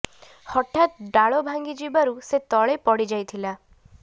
ହଠାତ୍ ଡାଳ ଭାଙ୍ଗି ଯିବାରୁ ସେ ତଳେ ପଡ଼ି ଯାଇଥିଲା